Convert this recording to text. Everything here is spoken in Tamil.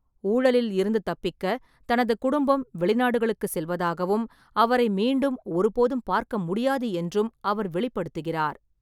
ஊழலில் இருந்து தப்பிக்க தனது குடும்பம் வெளிநாடுகளுக்கு செல்வதாகவும், அவரை மீண்டும் ஒருபோதும் பார்க்க முடியாது என்றும் அவர் வெளிப்படுத்துகிறார்.